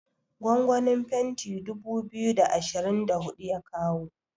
gwangwanin fenti dubu biyu da ashirin da hudu ya kawo